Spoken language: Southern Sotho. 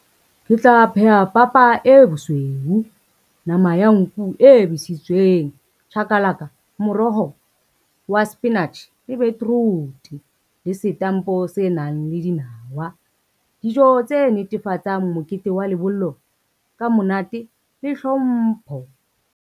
Ke tla pheha papa e bosweu, nama ya nku e besitsweng, chakalaka, moroho wa spinach le beetroot le setampo se nang le dinawa. Dijo tse netefatsang mokete wa lebollo ka monate le hlompho.